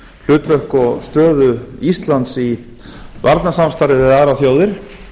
hlutverk og stöðu íslands í varnarsamstarfi við aðrar þjóðir